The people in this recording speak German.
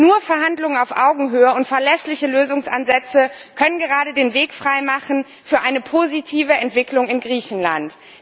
Nur Verhandlungen auf Augenhöhe und verlässliche Lösungsansätze können den Weg frei machen für eine positive Entwicklung in Griechenland.